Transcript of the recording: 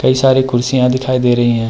कई सारी कुर्सियां दिखाई दे रही हैं।